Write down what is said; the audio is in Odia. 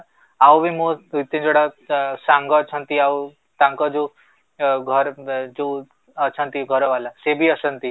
ଆଉ ବି ମୋ ତିନି ଯୋଡ଼ା ସାଙ୍ଗ ଅଛନ୍ତି ଆଉ ତାଙ୍କ ଯୋଉ ଘରେ ଯୋଉ ଅଛନ୍ତି ଘରବାଲା ସେ ବି ଆସନ୍ତି